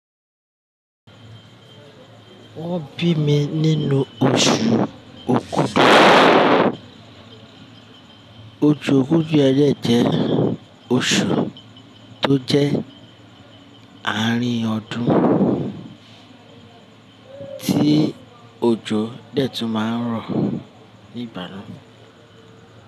Wọ́n bí mi nínú oṣù Okúdù. Oṣù Òkudù ẹlẹ́ẹ̀ jẹ́ oṣù tó jẹ́ àárín ọdún tí òjò dẹ̀ tún máa ń rọ̀ ní ìgbà náà.